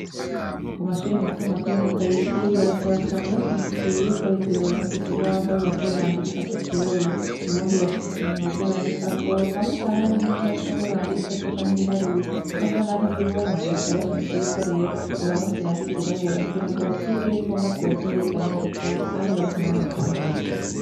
Kumashure mato mato yo mu Kayigi barasaba cane bashimitse yuko reta yobaronsa ikibaho baza barandikako c’irabura, ubundi uwafise ikintu baza barandikako hamwe usanga n’indome banditseko canke ibiharuro ugasanga ntibibona , basaba bashimitse yuko rero bobaronse irangi ry’irabura kugira ngo basigeko maze baze bariga neza kandi baronka n’amanota meza.